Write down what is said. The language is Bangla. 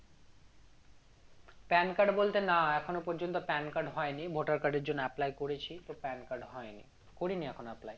PAN card বলতে না এখনো পর্যন্ত PAN card হয়নি voter card এর জন্য apply করেছি তো PAN card হয়নি করিনি এখনো apply